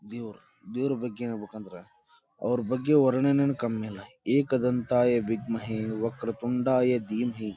ದೇವರು ದೇವರ ಬಗ್ಗೆ ಹೇಳ್ಬೇಕಂದ್ರ ಅವರ ಬಗ್ಗೆ ವರ್ಣನೆ ಏನ್ ಕಮ್ಮಿಲ್ಲ ಏಕ ದಂತಾಯ ವಿದ್ಮಹೇ ವರ್ಕ ತುಂಡಯ ದಿಮಾಹಿ.